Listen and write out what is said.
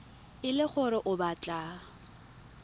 e le gore o batla